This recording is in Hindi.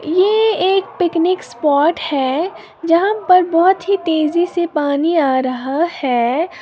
ये एक पिकनिक स्पॉट है जहां पर बहुत ही तेजी से पानी आ रहा है।